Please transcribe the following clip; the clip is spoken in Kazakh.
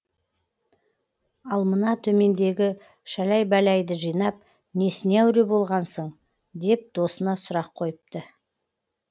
ал мына төмендегі шәләй бәләйді жинап несіне әуре болғансың деп досына сұрақ қойыпты